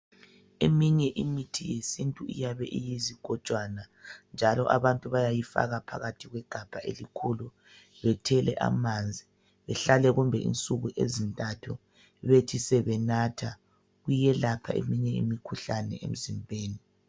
Eminye imithi yesintu iyabe iyizigojwana, njalo. abantu bayayifaka phakarhi kwegabha elikhulu. Bethele amanzi. Behlale kumbe insuku ezintathu. Bethi sebenatha. Kuyelapha eminye imikhuhlane, emzimbeni.